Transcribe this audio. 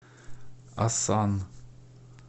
асан